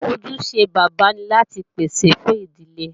Ojúṣe bàbá ni láti pèsè fún ìdílé